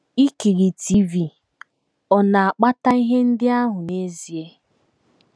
Ikiri TV ọ̀ na - akpata ihe ndị ahụ n’ezie?